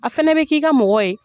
A fɛnɛ bɛ k'i ka mɔgɔ ye.